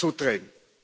zudrehen?